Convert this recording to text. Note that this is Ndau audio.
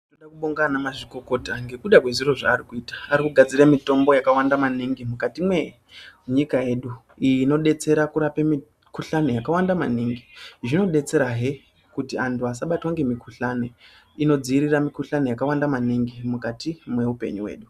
Ndinofa kubonga ana mazvikokota ngekuda kwezvino zvaari kuita ,arikugadzire mitombo yakawanda maningi mukati mwenyika yedu iyi inodetsera kurape mikhuhlani yakawande maningi zvinodetsera hee kuti vantu vasabatwe ngemikhuhlani inodziwirira mikhuhlani yakawanda maningi mukati meuoenyu hwedu.